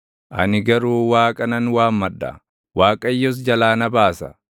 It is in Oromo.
Ani garuu Waaqa nan waammadha; Waaqayyos jalaa na baasa.